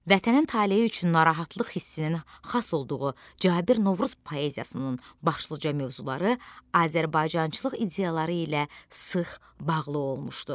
Vətənin taleyi üçün narahatlıq hissinin xas olduğu Cabir Novruz poeziyasının başlıca mövzuları Azərbaycançılıq ideyaları ilə sıx bağlı olmuşdur.